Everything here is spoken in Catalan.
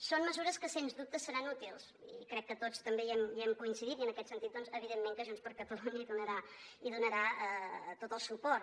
són mesures que sens dubte seran útils i crec que tots també hi hem coincidit i en aquest sentit doncs evidentment que junts per catalunya hi donarà tot el suport